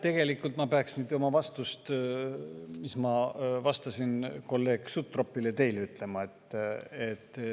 Tegelikult ma peaks nüüd seda, mis ma vastasin kolleeg Sutropile, teile ütlema.